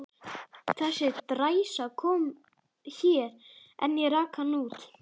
Þessi dræsa kom hér, en ég rak hana út.